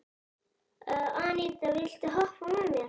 Anita, viltu hoppa með mér?